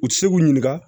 U ti se k'u ɲininka